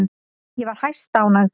Ég var hæstánægð.